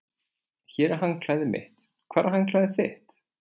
Hér er handklæðið mitt. Hvar er handklæðið þitt?